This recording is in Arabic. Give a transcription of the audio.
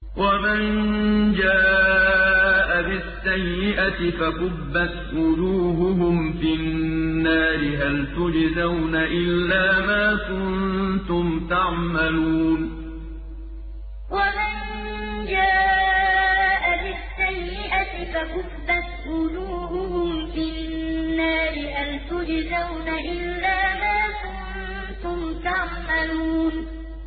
وَمَن جَاءَ بِالسَّيِّئَةِ فَكُبَّتْ وُجُوهُهُمْ فِي النَّارِ هَلْ تُجْزَوْنَ إِلَّا مَا كُنتُمْ تَعْمَلُونَ وَمَن جَاءَ بِالسَّيِّئَةِ فَكُبَّتْ وُجُوهُهُمْ فِي النَّارِ هَلْ تُجْزَوْنَ إِلَّا مَا كُنتُمْ تَعْمَلُونَ